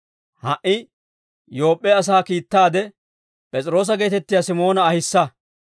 Ha"i Yoop'p'e asaa kiittaade, P'es'iroosa geetettiyaa Simoona ahissa.